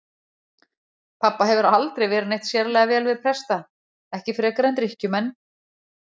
Pabba hefur aldrei verið neitt sérlega vel við presta, ekki frekar en drykkjumenn.